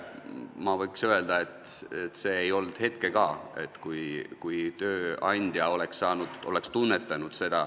Ma võin öelda, et ei ole hetke ka, kui tööandja oleks seda tunnetanud.